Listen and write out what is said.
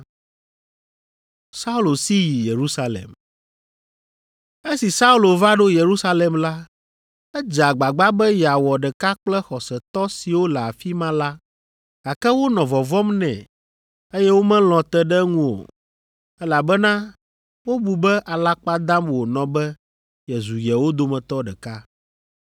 Esi Saulo va ɖo Yerusalem la, edze agbagba be yeawɔ ɖeka kple xɔsetɔ siwo le afi ma la, gake wonɔ vɔvɔ̃m nɛ, eye womelɔ̃ te ɖe eŋu o, elabena wobu be alakpa dam wònɔ be yezu yewo dometɔ ɖeka.